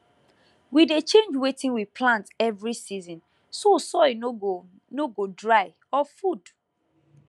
we dey change wetin we plant every season so soil no go no go dry of food